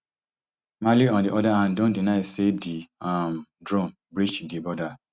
mali on di oda hand don deny say di um drone breach di border